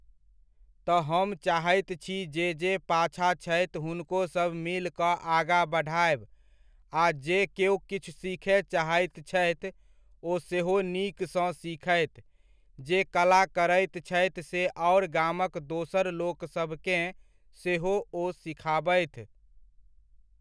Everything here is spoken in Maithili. तऽ हम चाहैत छी जे जे पाछा छथि हुनको सब मिल कऽ आगा बढ़ायब आ जे केओ किछु सीखय चाहैत छथि, ओ सेहो नीक सँ सिखथि, जे कला करैत छथि से आओर गामक दोसर लोकसभकेँ सेहो ओ सिखाबथि।